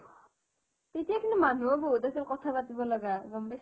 তেতিয়া কিন্তু মানুহো বহুত আছিল কথা পাতিব লগা গম পাইছানে